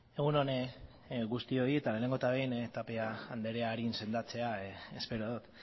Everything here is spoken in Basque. egun on guztioi lehenengo eta behin tapia andrea sendatzea espero dut